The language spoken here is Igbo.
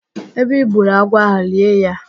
Ebe I gburu agwọ ahụ, lie ya